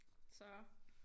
Så